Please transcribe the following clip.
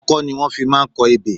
Ọkọ ni wọ́n fi máa ń kọ ebè.